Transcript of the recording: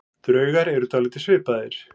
Draugar eru dálítið svipaðir.